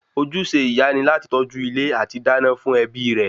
Ojúṣe ìyá ni láti tọ́jú ilé àti dá iná fún ẹbí rẹ